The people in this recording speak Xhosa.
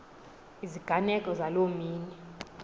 iziganeko zaloo mini